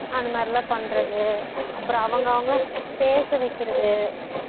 அது மாறிலாம் பண்றது அப்பறம் அவங்க அவங்கள பேச வைக்குறது